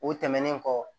O tɛmɛnen kɔ